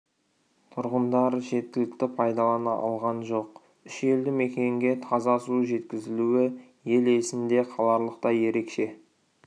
тұрғындар жеткілікті пайдалана алған жоқ үш елді мекенге таза су жеткізілуі ел есінде қаларлықтай ерекше